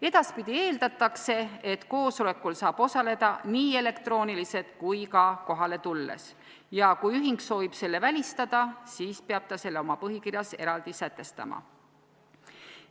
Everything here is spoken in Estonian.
Edaspidi eeldatakse, et koosolekul saab osaleda nii elektrooniliselt kui ka kohale tulles ja kui ühing soovib selle välistada, siis peab ta selle oma põhikirjas eraldi sätestama.